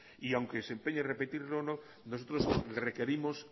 y aunque se empeñe en repetirlo nosotros requerimos